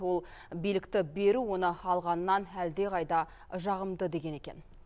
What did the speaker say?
ол билікті беру оны алғаннан әлдеқайда жағымды деген екен